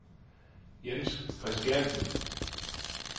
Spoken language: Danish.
Jens Kristiansen